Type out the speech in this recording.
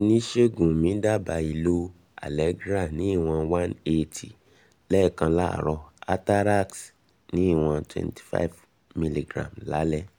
oniṣègùn mí dábàá um ìlò allegra ní ìwọn one eighty um lẹ́ẹ̀kan láàárọ̀ atarax ní ìwọn twenty five milligram lálẹ́ um